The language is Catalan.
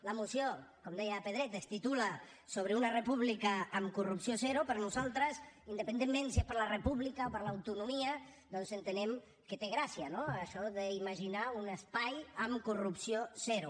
la moció com deia pedret es titula sobre una república amb corrupció zero per nosaltres independentment si és per a la república o per a l’autonomia doncs entenem que té gràcia no això d’imaginar un espai amb corrupció zero